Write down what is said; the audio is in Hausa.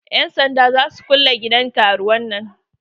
Yan sanda za su kulle gidan karuwan nan.